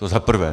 To za prvé.